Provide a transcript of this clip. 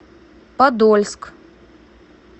подольск